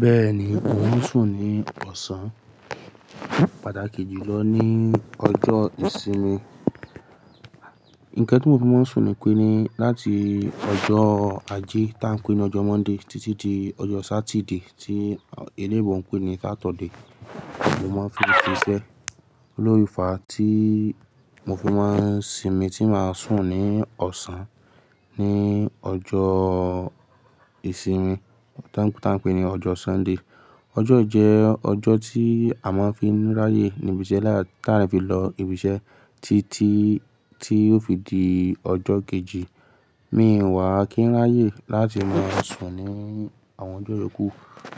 Bẹ́ẹ̀ni, mò ń sùn ní ọ̀sán, pàtàkì jùlọ ní ọjọ́ ìsinmi. Ǹkan tí mo fi máa ń sùn ni wípé ní láti ọjọ́ ajé tí a ń pè ní ọjọ́ monday títí di ọjọ́ satide tí olóyìnbó ń pè ní Saturday ni mo máa ń fi ṣiṣẹ́ lọ fi fà tí mo fi máa ń sinmi tí máa sùn ní ọ̀sán ní ọjọ́ ìsinmi tá ń pè ní ọjọ́ Sunday. Ọjọ́ yìí jẹ́ ọjọ́ tí a máa ń fín ráyè níbi iṣẹ́ láyè tí a lè fi lọ ibi iṣẹ́ títí tí ó fi di ọjọ́ kejì. Mi ò wà kí ń ráyè láti máa sùn ní àwọn ọjọ́ ìyókù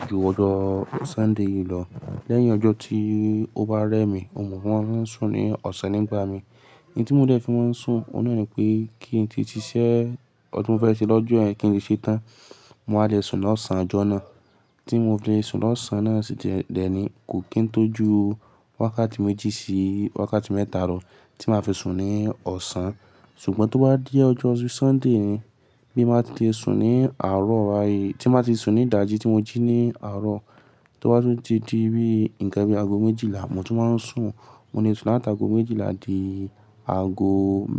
ju ọjọ́ Sunday yìí lọ. Lẹ́yìn ọjọ́ tí ó bá rẹ́ mi, oun ni mo máa ń sùn ní ọ̀sán nígbà mi. Ìdí tí mo dẹ́ fi máa ń sùn, óun náà ni pé kí n ti ṣiṣẹ́, ọhun ti mo fẹ́ ṣe lọ́jọ́ yen kí n ti ṣẹ́ tán, mo wa le sùn lọ́sàn-án ọjọ́ náà. Tí mo fi le sùn lọ́sàn-án náà sì de ni kò kín tó ju wákàtí méjì sí wákàtí mẹ́ta lọ̀ tí màá fi sùn ní ọ̀sán. Ṣùgbọ́n tó bá dí ọjọ́ Sunday, bí n bàá ti le sùn ní àárọ̀ bá yìí, tí màá ti sùn ní ìdájí tí mo jí ní àárọ̀, tó bá tún ti di bí nǹkan bí ago méjìlá, mò tún máa ń sùn. Mo lè sùn láti ago méjìlá di ago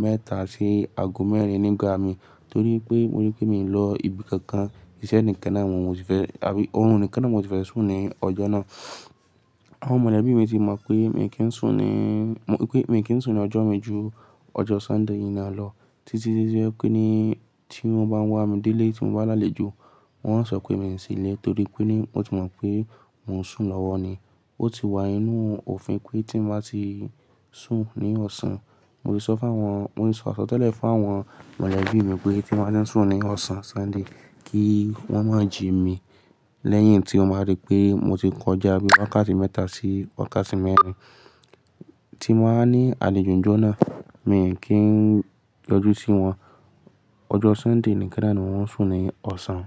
mẹ́ta sí ago mẹ́rin nígbà mi. Torí pé mo rí pé mo rí pé mo lọ ibi kankan, iṣẹ́ nìkan náà mo sì fẹ́, àbí òórùn nìkan náà mo sì fẹ́ sùn ní ọjọ́ náà. Àwọn mọ̀lẹ́bí mi ti mọ̀ pé mi kì í sùn ní, pé mi kì í sùn ní ọjọ́ mi ju ọjọ́ Sunday yìí náà lọ. Títí di pé ní tí wọ́n bá wà mí délé tí mo bá lálejò, wọ́n ó sọ pé mi ò sílé torí pé ní wọ́n ti mọ̀ pé mò ń sùn lọ́wọ́ ni. Ó ti wà nínú òfin pé tí màá ti sùn ní ọ̀sán, mo ti sọ fún àwọn, mo ti sọ àsọtẹ́lẹ̀ fún àwọn mọ̀lẹ́bí mi pé tí n bàá ti n sùn ní ọ̀sán Sunday, kí wọ́n máa jí mi lẹ́yìn tí ó máa rí pé mo ti kọjá bí wákàtí mẹ́ta sí wákàtí mẹ́rin tí mo wa ní àlejò ń jó náà, mi ò kí ń yọjú sí wọn. Ọjọ́ Sunday nìkan náà ni mo máa ń sùn ní ọ̀sán.